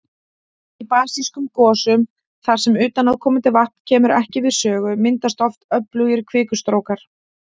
Í basískum gosum þar sem utanaðkomandi vatn kemur ekki við sögu, myndast oft öflugir kvikustrókar.